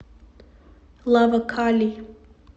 лава кали